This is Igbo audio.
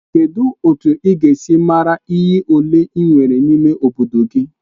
Kedu otu ị ga-esi mara iyi ole ị nwere n'ime obodo gị?